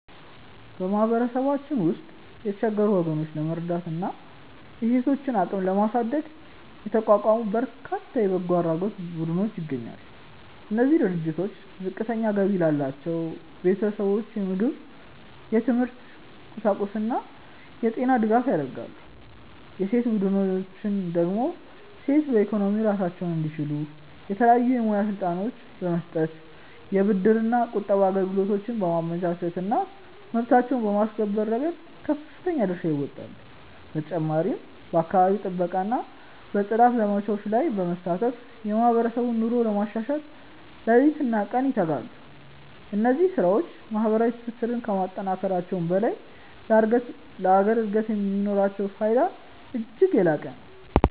በማህበረሰባችን ውስጥ የተቸገሩ ወገኖችን ለመርዳትና የሴቶችን አቅም ለማሳደግ የተቋቋሙ በርካታ የበጎ አድራጎት ቡድኖች ይገኛሉ። እነዚህ ድርጅቶች ዝቅተኛ ገቢ ላላቸው ቤተሰቦች የምግብ፣ የትምህርት ቁሳቁስና የጤና ድጋፍ ያደርጋሉ። የሴቶች ቡድኖች ደግሞ ሴቶች በኢኮኖሚ ራሳቸውን እንዲችሉ የተለያዩ የሙያ ስልጠናዎችን በመስጠት፣ የብድርና ቁጠባ አገልግሎቶችን በማመቻቸትና መብታቸውን በማስከበር ረገድ ከፍተኛ ድርሻ ይወጣሉ። በተጨማሪም በአካባቢ ጥበቃና በጽዳት ዘመቻዎች ላይ በመሳተፍ የማህበረሰቡን ኑሮ ለማሻሻል ሌሊትና ቀን ይተጋሉ። እነዚህ ስራዎች ማህበራዊ ትስስርን ከማጠናከራቸውም በላይ ለሀገር እድገት የሚኖራቸው ፋይዳ እጅግ የላቀ ነው።